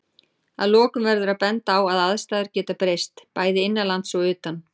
Að lokum verður að benda á að aðstæður geta breyst, bæði innanlands og utan.